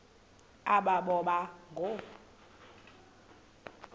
aba boba ngoo